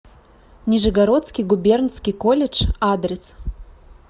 нижегородский губернский колледж адрес